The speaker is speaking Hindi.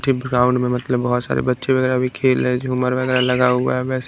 ग्राउंड में मतलब बहुत सारे बच्चे वगैरह भी खेल रहे झूमर वगैरह लगा हुआ है वैसे।